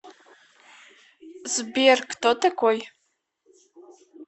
сбер кто такой